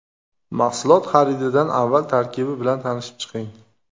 Mahsulot xarididan avval tarkibi bilan tanishib chiqing.